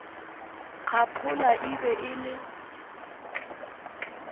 kgaphola e be e le